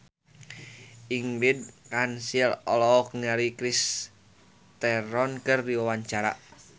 Ingrid Kansil olohok ningali Charlize Theron keur diwawancara